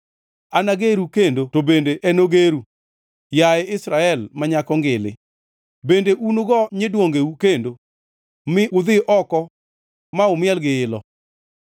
Anageru kendo to bende enogeru, yaye Israel ma nyako ngili. Bende unugo nyiduongeu kendo, mi udhi oko ma umiel gi ilo.